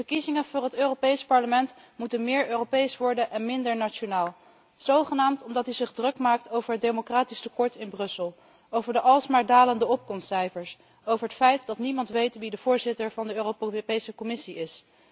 De verkiezingen voor het Europees Parlement moeten meer Europees worden en minder nationaal, zogenaamd omdat u zich druk maakt over het democratisch tekort in Brussel, over de alsmaar dalende opkomstcijfers, over het feit dat niemand weet wie de voorzitter van de Europese Commissie is.